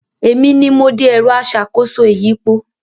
Èmi ni mo de “ẹ̀rọ aṣàkóso ìyípo”